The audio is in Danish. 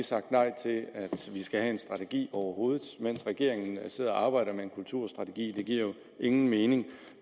sagt nej til at vi skal have en strategi overhovedet mens regeringen sidder og arbejder med en kulturstrategi det giver ingen mening